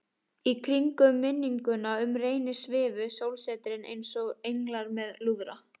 Í kringum minninguna um Reyni svifu sólsetrin einsog englar með lúðra.